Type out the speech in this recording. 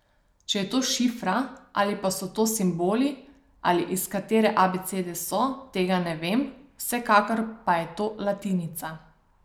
Če je to šifra ali pa so to simboli ali iz katere abecede so, tega ne vem, vsekakor pa je to latinica.